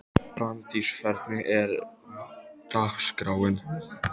Brandís, hvernig er dagskráin?